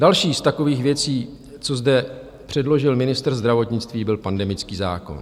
Další z takových věcí, co zde předložil ministr zdravotnictví, byl pandemický zákon.